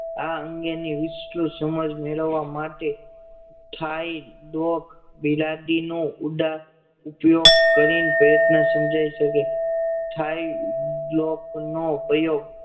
આ અંગેની વિસ્તૃત સમજ મેળવવા માટે હેય ડોક નો ઉંડા ઉપયોગ કરી ને પ્રયત્ન સમજાય શકે નો પ્રયોગ